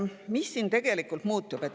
Mis siin tegelikult muutub?